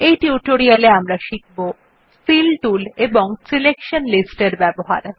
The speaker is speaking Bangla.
এই টিউটোরিয়াল এ আমরা শিখব ফিল টুল এবং সিলেকশন লিস্ট এর ব্যবহার